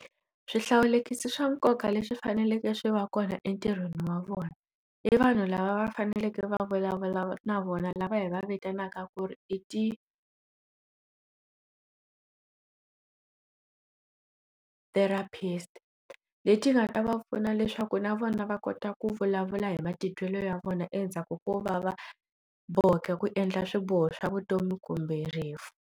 Swihlawulekisi swa nkoka leswi faneleke swi va kona entirhweni wa vona i vanhu lava va faneleke va vulavula na vona lava hi va vitanaka ku ri i ti therapist leti nga ta va pfuna leswaku na vona va kota ku vulavula hi matitwelo ya vona endzhaku ko vava boheka ku endla swiboho swa vutomi kumbe rifu.